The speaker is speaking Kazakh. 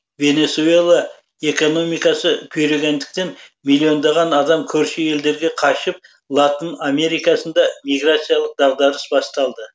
венесуэла экономикасы күйрегендіктен миллиондаған адам көрші елдерге қашып латын америкасында миграциялық дағдарыс басталды